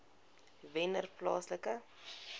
wennerplaaslike